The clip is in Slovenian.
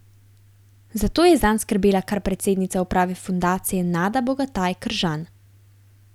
Zato je zanj skrbela kar predsednica uprave fundacije Nada Bogataj Kržan.